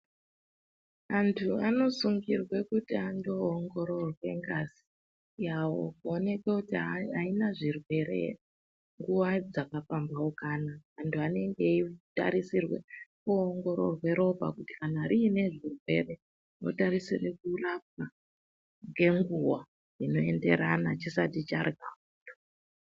Antu anosungirwe kuti andoongororwe ngazi yawo kuonekwe kuti aina zvirwere ere nguwa dzakapambaukana, antu anenge eitarisirwe kuoongororwe ropa kuti kana riine zvirwere zvinotarisire kurapwa ngenguwa inoenderana chisati chaga.